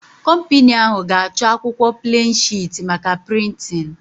Kọmpini ahụ ga-achọ akwụkwọ pleen shịt maka prịntịn